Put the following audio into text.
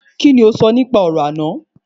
Kíni o sọ nípa orò náà?